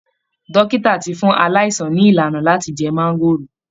Dókítà ti fún aláìsàn ní ìlànà láti jẹ máńgóòrò